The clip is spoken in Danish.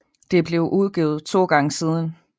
Det er blevet udvidet to gange siden